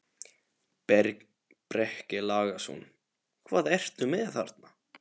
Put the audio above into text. Breki Logason: Hvað ertu með þarna?